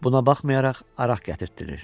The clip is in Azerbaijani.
Buna baxmayaraq, araq gətirtdirir.